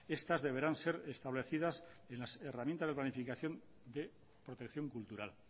estas deberán ser establecidas en las herramientas de planificación de protección cultural